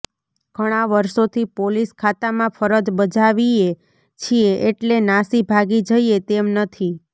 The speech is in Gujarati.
ઘણા વર્ષોથી પોલીસ ખાતામાં ફરજ બજાવીયે છીએ એટલે નાસી ભાગી જઈએ તેમ નથી